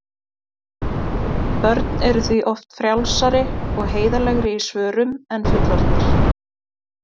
Börn eru því oft frjálsari og heiðarlegri í svörum en fullorðnir.